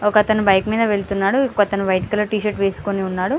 ఒకతను బైక్ మీద వెళ్తున్నాడు ఇంకొకతను వైట్ టి షార్ట్ వేసుకొని ఉన్నాడు